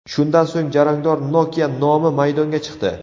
Shundan so‘ng, jarangdor Nokia nomi maydonga chiqdi.